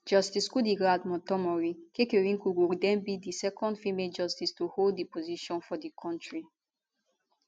justice kudirat motonmori kekereekun go den be di second female justice to hold di position for di kontri